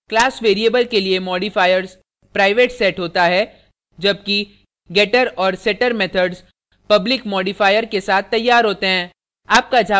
class variable के लिए modifiers private set होता है जबकि getter और setter methods public modifier के साथ तैयार होते हैं